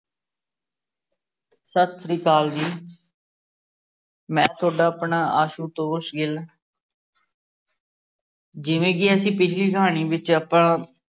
ਸਤਿ ਸ਼੍ਰੀ ਅਕਾਲ ਜੀ ਮੈ ਤੁਹਾਡਾ ਆਪਣਾ ਆਸ਼ੂਤੋਸ਼ ਗਿੱਲ ਜਿਵੇ ਕੇ ਅਸੀ ਪਿਛਲੀ ਕਹਾਣੀ ਵਿੱਚ ਆਪਾ